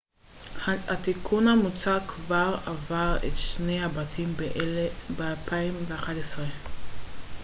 התיקון המוצע כבר עבר את שני הבתים ב-2011